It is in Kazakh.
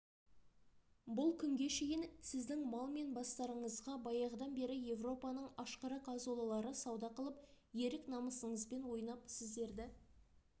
бұл күнге шейін сіздің мал мен бастарыңызға баяғыдан бері европаның ашқарақ азулылары сауда қылып ерік намысыңызбен ойнап сіздерді